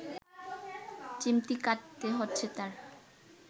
চিমটি কাটতে হচ্ছে তার